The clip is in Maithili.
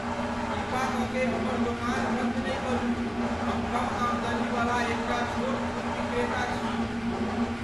कृपा क के हमर दोकान बन्द नहि करू। हम कम आमदनी वाला एकटा छोट फूल विक्रेता छी।